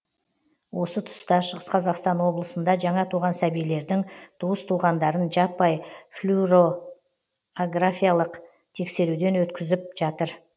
осы тұста шығыс қазақстан облысында жаңа туған сәбилердің туыс туғандарын жаппай флюоро графиялық тексеруден өткізіп жатыр